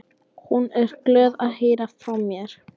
Hún er glöð að heyra frá mér.